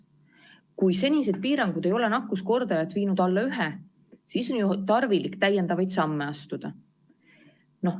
Kui senised piirangud ei ole nakkuskordajat viinud alla 1, siis on tarvilik täiendavaid samme astuda.